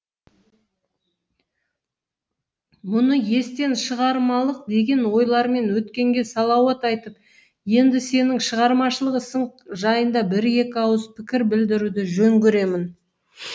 мұны естен шығармалық деген ойлармен өткенге салауат айтып енді сенің шығармашылық ісің жайында бір екі ауыз пікір білдіруді жөн көремін